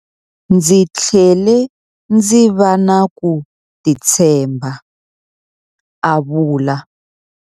Ndzi tlhele ndzi va na ku titshemba, a vula.